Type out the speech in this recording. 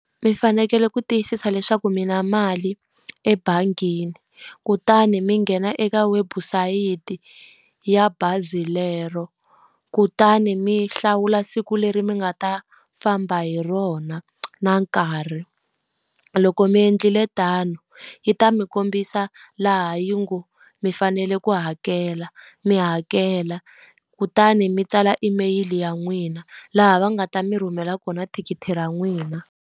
Mi fanekele ku tiyisisa leswaku mi na mali ebangini kutani mi nghena eka webusayiti ya bazi lero, kutani mi hlawula siku leri mi nga ta famba hi rona na nkarhi. Loko mi endlile tano, yi ta mi kombisa laha yi ngo mi fanele ku hakela, mi hakela. Kutani mi tsala email ya n'wina, laha va nga ta mi rhumela kona thikithi ra n'wina.